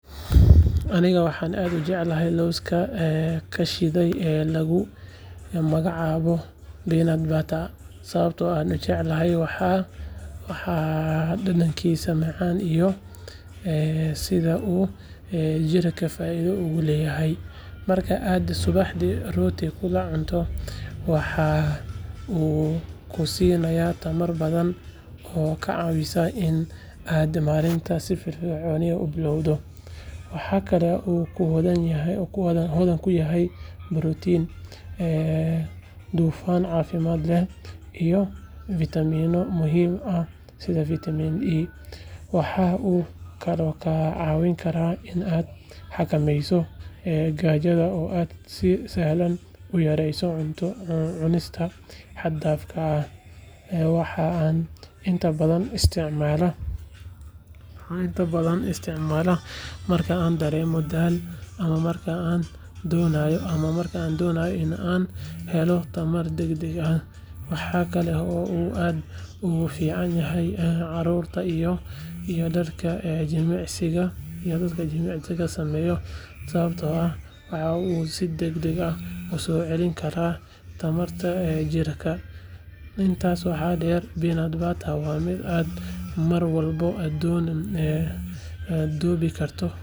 Aniga waxaa said ujedadha loska ee kashide lagu magac awo waxaa dadankisa macan iyo ee sitha u jirka faida ogu leyahay marka aad cunto waxuu kusinaya tamar badan, waxaa kalo hodhan kuyahay borotenyo, waxaa inta badan isticmala marka an daremo dal, waxaa kalo aad ogu ficanahay carurta, intas waxaa deer miid aah mar kasto dowi karto.